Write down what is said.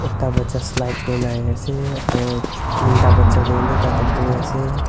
Ta bacha slide kurena ahe ase aro tin ta bacha tu eni tate bohe ase.